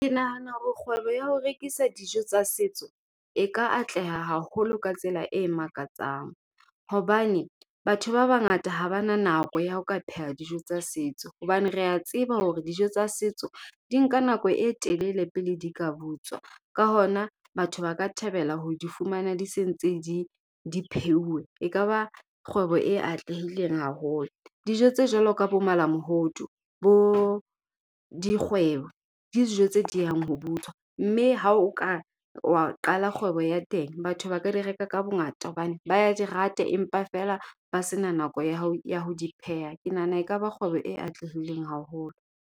Ke nahana hore kgwebo ya ho rekisa dijo tsa setso, e ka atleha haholo ka tsela e makatsang. Hobane, batho ba bangata ha ba na nako ya ho ka pheha dijo tsa setso. Hobane rea tseba hore dijo tsa setso di nka nako e telele pele di ka butswa. Ka hona, batho ba ka thabela ho di fumana di se ntse di di pheuwe. E kaba kgwebo e atlehileng haholo. Dijo tse jwalo ka bo malamohodu, bo dikgwebo, ke dijo tse diehang ho butswa. Mme ha o ka wa qala kgwebo ya teng, batho ba ka di reka ka bongata hobane ba ya di rata empa feela ba sena nako ya ho ya ho di pheha. Ke nahana ekaba kgwebo e atlehileng haholo.